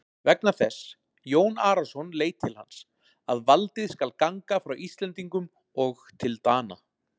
Vegna þess, Jón Arason leit til hans,-að valdið skal ganga frá Íslendingum og til Dana.